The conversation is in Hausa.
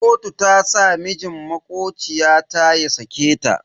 Kotu ta sa mijin makociya ta ya sake ta.